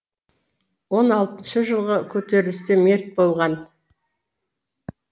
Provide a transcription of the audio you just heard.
он алтыншы жылғы көтерілісте мерт болған